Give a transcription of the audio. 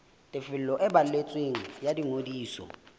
tefiso e balletsweng ya ngodiso